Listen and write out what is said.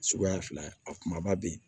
Suguya fila a kumaba bɛ yen